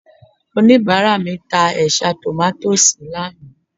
Oníbàárà mi ta ẹ̀ṣá tòmátósì lánàá